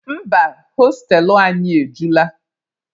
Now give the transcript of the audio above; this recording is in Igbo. Mba, hostelụ anyị ejula.